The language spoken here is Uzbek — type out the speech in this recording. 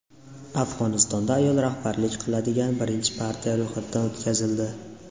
Afg‘onistonda ayol rahbarlik qiladigan birinchi partiya ro‘yxatdan o‘tkazildi.